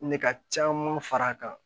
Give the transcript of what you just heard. Ne ka caman far'a kan